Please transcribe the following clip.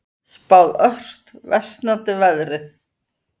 Spáð ört versnandi veðri